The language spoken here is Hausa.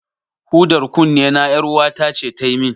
Hudar kunnena, ƴaruwata ce ta yi min.